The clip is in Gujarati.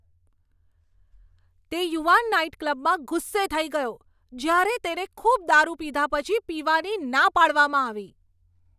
તે યુવાન નાઇટક્લબમાં ગુસ્સે થઈ ગયો જ્યારે તેને ખૂબ દારૂ પીધા પછી પીવાની ના પાડવામાં આવી.